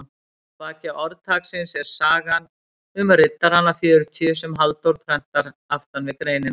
Að baki orðtaksins er sagan um riddarana fjörutíu sem Halldór prentar aftan við greinina.